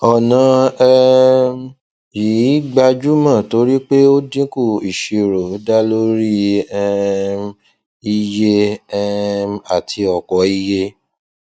ọna um yìí gbajúmọ torí pé o dinku iṣirò da lori um iye um ati ọ̀pọ̀iye